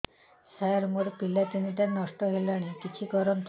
ସାର ମୋର ପିଲା ତିନିଟା ନଷ୍ଟ ହେଲାଣି କିଛି କରନ୍ତୁ